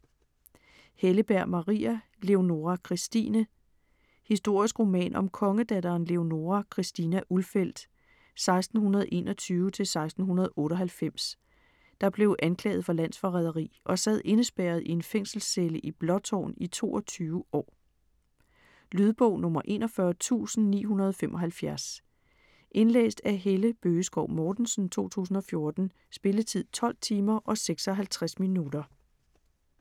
Helleberg, Maria: Leonora Christine Historisk roman om kongedatteren Leonora Christina Ulfeldt (1621-1698), der blev anklaget for landsforræderi og sad indespærret i en fængselscelle i Blåtårn i 22 år. Lydbog 41975 Indlæst af Helle Bøgeskov Mortensen, 2014. Spilletid: 12 timer, 56 minutter.